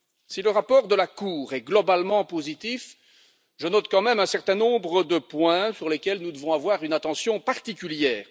Si le rapport de la Cour est globalement positif, je note quand même un certain nombre de points sur lesquels nous devons avoir une attention particulière.